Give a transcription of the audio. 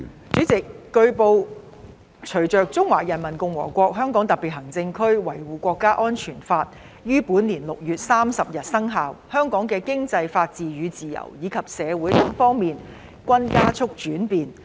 主席，據報，隨着《中華人民共和國香港特別行政區維護國家安全法》於本年6月30日生效，香港的經濟、法治與自由，以及社會等方面均加速轉變。